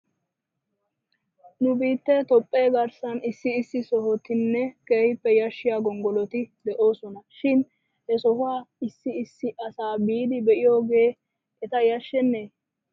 Nu biittee toophphee garssan issi issi sohotin keehippe yashshiyaa gonggoloti de'oosona shin he sohuwaa issi issi asa biidi be'iyooge eta yashshenee?